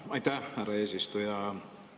Aitäh, härra eesistuja!